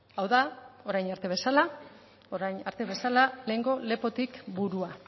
hau da orain arte bezala lehengo lepotik burua